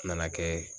Nana kɛ